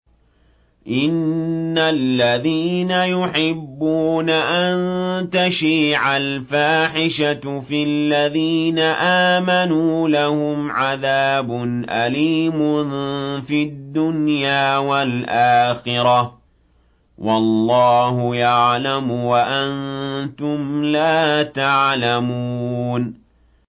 إِنَّ الَّذِينَ يُحِبُّونَ أَن تَشِيعَ الْفَاحِشَةُ فِي الَّذِينَ آمَنُوا لَهُمْ عَذَابٌ أَلِيمٌ فِي الدُّنْيَا وَالْآخِرَةِ ۚ وَاللَّهُ يَعْلَمُ وَأَنتُمْ لَا تَعْلَمُونَ